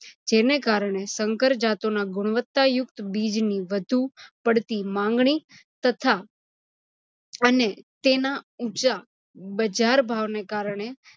જેને કારણે સંકર જાતોના ગુણવત્તાં યુક્ત બીજની વધુ પડતી માંગણી તથા અને તેના ઊંચા બજાર ભાવને કારણે